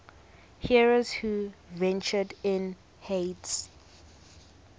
heroes who ventured to hades